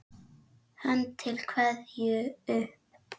Hönd til kveðju upp!